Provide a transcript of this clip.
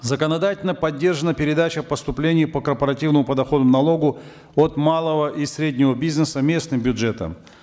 законодательно поддержана передача поступлений по корпоративному подоходному налогу от малого и среднего бизнеса местным бюджетам